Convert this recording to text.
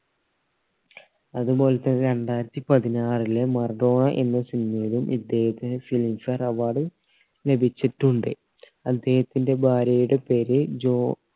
അതുപോലെ തന്നെ രണ്ടായിരത്തി പതിനാറിൽ മറഡോണ എന്ന cinema യിലും ഇദ്ദേഹത്തിന് filmfare award ലഭിച്ചിട്ടുണ്ട് അദ്ദേഹത്തിന്റെ ഭാര്യയുടെ പേര് ജോ